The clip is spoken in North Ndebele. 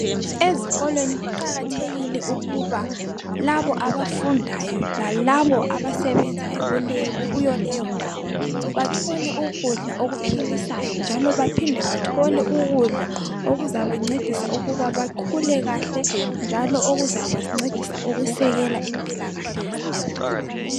ezikolweni kuqakathekile ukuba labo abafundayo lalabo abasebenzayo kuyoleyo ndawo bathole ukudla okuphilisayo njalo baphinde bathole ukudla okuzabancedisa ukuba bakhule kahle njalo ukuzabancedisa ukusekela impilakahle zabo